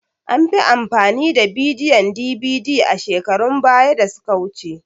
An fi amfani da bidiyon DVD a shekarun baya da suka wuce.